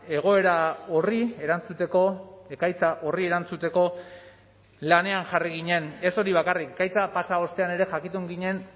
egoera horri erantzuteko ekaitza horri erantzuteko lanean jarri ginen ez hori bakarrik ekaitza pasa ostean ere jakitun ginen